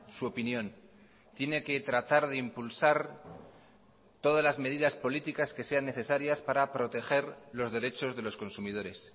su opinión tiene que tratar de impulsar todas las medidas políticas que sean necesarias para proteger los derechos de los consumidores